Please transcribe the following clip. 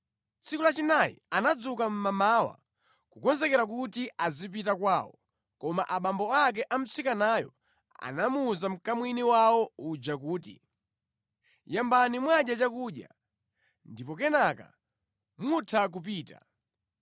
Tsiku lachinayi anadzuka mʼmamawa kukonzekera kuti azipita kwawo, koma abambo ake a mtsikanayo anawuza mkamwini wawo uja kuti, “Yambani mwadya chakudya, ndipo kenaka mutha kupita.”